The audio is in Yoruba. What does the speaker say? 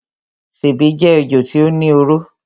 Sèbé jé ejò tí ó ní oró.